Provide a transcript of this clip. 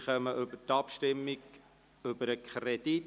Wir kommen zur Abstimmung über den Kredit.